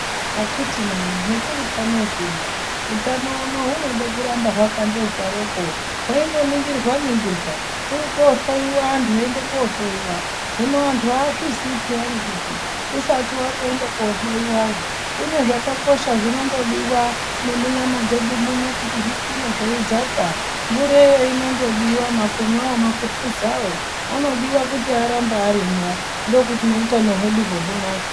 Akitina hetiri panozvino utano unou unode kuramba hwakandozwaroko hweindoningorwa ningirwa , kurikohloiwa antu eiende kohloiwa hino antu azviziyi peyani kuti usati watoende kohloiwayo kune zvakakosha zvinondodiwa nemunyama dzedu muno kuti zvikwire zveidzaka mvureyo inondodiwa makumwawo, makupuzawo anodiwa kuti arambe arimwo ndokuti nehutano hweduho hunake.